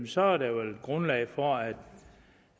så er der vel grundlag for at